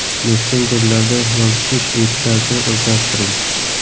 Messenjerlarda yozishish etikasini o‘zlashtiring.